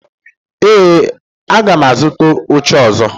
Ee, aga m azụta oche ọzọ